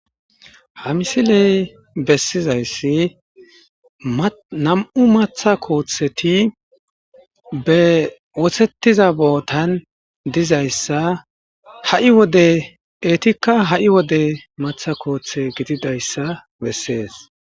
Ha misiley besizays nam'u matha kotheti be wosetiza botan dizaysa etika ha'i wode matha kothe gididaysa beses.